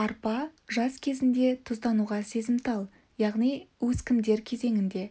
арпа жас кезінде тұздануға сезімтал яғни өскіндер кезеңінде